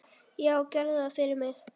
Já, gerðu það fyrir mig!